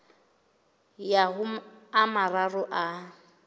ya ho a mararo a